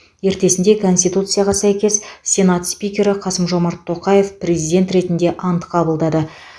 ертесінде конституцияға сәйкес сенат спикері қасым жомарт тоқаев президент ретінде ант қабылдады